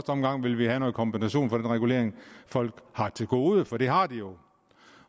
omgang vil vil have noget kompensation for den regulering folk har til gode for det har de jo